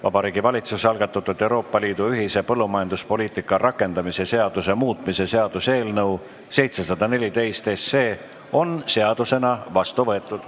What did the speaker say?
Vabariigi Valitsuse algatatud Euroopa Liidu ühise põllumajanduspoliitika rakendamise seaduse muutmise seaduse eelnõu 714 on seadusena vastu võetud.